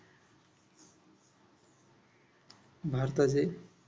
भारताचे